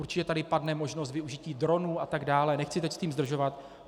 Určitě tady padne možnost využití dronů atd., nechci teď s tím zdržovat.